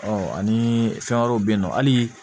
ani fɛn wɛrɛw bɛ yen nɔ hali